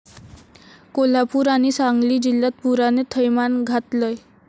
कोल्हापूर आणि सांगली जिल्ह्यात पुराने थैमान घातलंय.